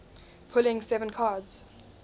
pulling seven cards